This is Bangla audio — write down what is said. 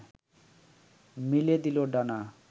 মেলে দিল ডানা